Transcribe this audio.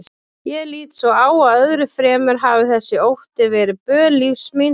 Ég lít svo á að öðru fremur hafi þessi ótti verið böl lífs míns.